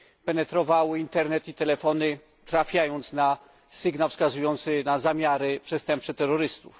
śledziły internet itelefony, trafiając na sygnał wskazujący na zamiary przestępcze terrorystów?